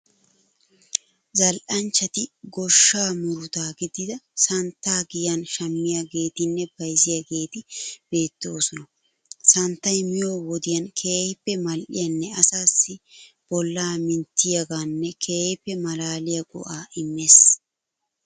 Zal'anchchati goshshaa murutaa gidida santtaa giyan shammiyageetinne bayzziyageeti beettoosona. Sanittay miyo wodiyan keehippe mal'iyanne asaassi bollaa minttettiyogaan keehipp malaaliya go'aa immees.